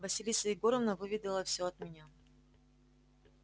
василиса егоровна выведала всё от меня